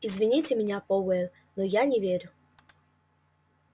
извините меня пауэлл но я не верю